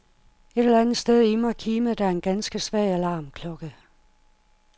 Et eller andet sted i mig kimede der en ganske svag alarmklokke.